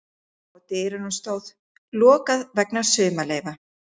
Á dyrunum stóð: LOKAÐ VEGNA SUMARLEYFA.